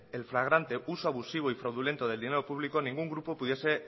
el fragante uso abusivo y fraudulento del dinero público ningún grupo pudiese